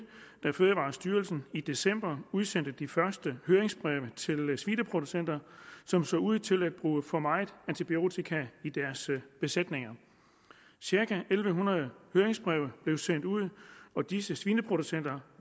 da fødevarestyrelsen i december udsendte de første høringsbreve til svineproducenter som så ud til at bruge for meget antibiotika i deres besætninger cirka en en hundrede høringsbreve blev sendt ud og disse svineproducenter